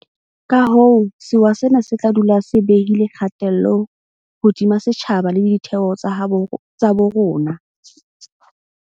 Kahoo sewa sena se tla dula se behile kgatello hodima setjhaba le ditheo tsa bo rona.